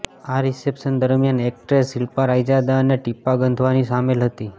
આ રીસેપ્શન દરમિયાન એક્ટ્રેસ શિલ્પા રાયજાદા અને ટીપાં ગંધવાની સામેલ હતી